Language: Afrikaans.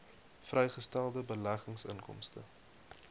vrygestelde beleggingsinkomste